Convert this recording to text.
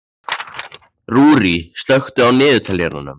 Rúrí, slökktu á niðurteljaranum.